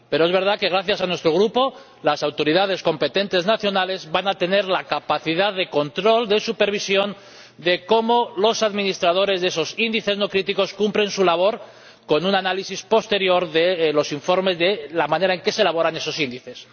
Pero es verdad que, gracias a nuestro Grupo, las autoridades competentes nacionales van a disponer de la capacidad de control para supervisar cómo los administradores de esos índices no críticos cumplen su labor con un análisis posterior en los informes de la manera en la que se elaboran esos índices.